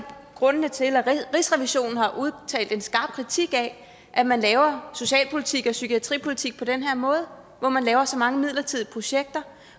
grundene til at rigsrevisionen har udtalt en skarp kritik af at man laver socialpolitik og psykiatripolitik på den her måde hvor man laver så mange midlertidige projekter